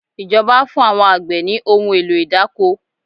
Ìjọba fún àwọn àgbẹ̀ ní ohun èlò idáko